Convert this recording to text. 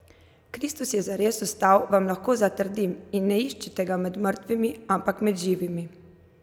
Kristus je zares vstal, vam lahko zatrdim in ne iščite ga med mrtvimi, ampak med živimi!